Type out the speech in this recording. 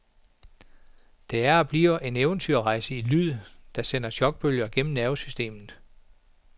Det er og bliver en eventyrrejse i lyd, der sender chokbølger gennem nervesystemet.